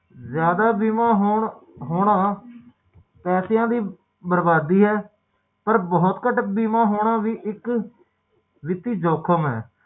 ਓਹਦੇ ਬਾਅਦ ਜਦੋ ਓਹਦੇ ਆਪਣੇ ਨਿਆਣੇ ਹੋ ਜਾਂਦੇ ਓਦੋ ਓਹਨਾ ਦੇ ਲਈ